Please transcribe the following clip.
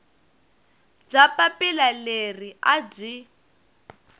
bya papila leri a byi